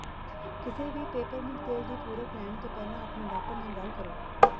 ਕਿਸੇ ਵੀ ਪੇਪਰਮਿੰਟ ਤੇਲ ਦੀ ਪੂਰਕ ਲੈਣ ਤੋਂ ਪਹਿਲਾਂ ਆਪਣੇ ਡਾਕਟਰ ਨਾਲ ਗੱਲ ਕਰੋ